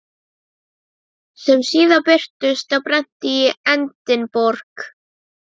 sem síðar birtust á prenti í Edinborg.